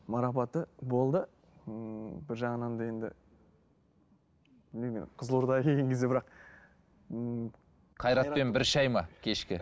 марапаты болды ммм бір жағынан да енді білмеймін енді қызылордаға келген кезде бірақ ммм қайратпен бір шай ма кешкі